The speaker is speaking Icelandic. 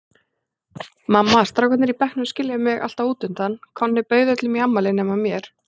Mamma, strákarnir í bekknum skilja mig alltaf útundan, Konni bauð öllum í afmælið nema mér.